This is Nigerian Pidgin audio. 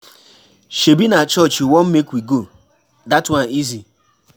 Shebi na church you wan make we go, dat one easy.